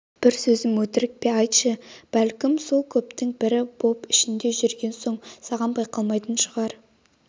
бір сөзім өтірік пе айтшы бәлки сол көптің бірі боп ішінде жүрген соң саған байқалмайтын шығар